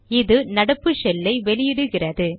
இது நடப்பு ஷெல் ஐ வெளியிடுகிறது